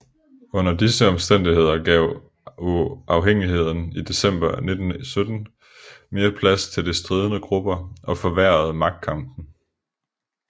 Under disse omstændigheder gav uafhængigheden i december 1917 mere plads til de stridende grupper og forværrede magtkampen